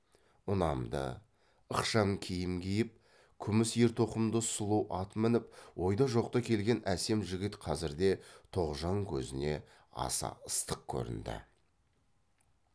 ұнамды ықшам киім киіп күміс ер тоқымды сұлу ат мініп ойда жоқта келген әсем жігіт қазірде тоғжан көзіне аса ыстық көрінді